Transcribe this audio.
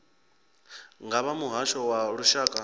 nga vha muhasho wa lushaka